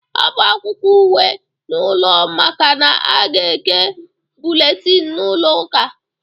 Hapụ akwụkwọ ukwe n'ụlọ makana a ga-eke bụletini n'ụlọ ụka.